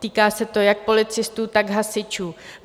Týká se to jak policistů, tak hasičů.